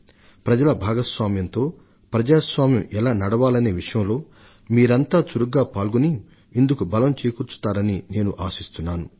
మన ప్రజాస్వామ్యం ప్రజల ప్రాతినిధ్యంతో పనిచేసేటట్లు చూడటంలో మీరు మరింత చురుకుగాను ఉత్సాహం తోను పాల్గొంటారని నేను ఆశిస్తున్నాను